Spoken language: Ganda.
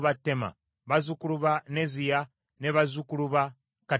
bazzukulu ba Neziya, ne bazzukulu ba Katifa.